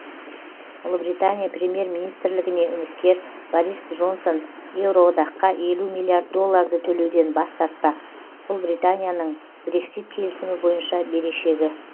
ұлыбритания премьер министрлігіне үміткер борис джонсон еуроодаққа елу миллиард долларды төлеуден бас тартпақ бұл британияның брексит келісімі бойынша берешегі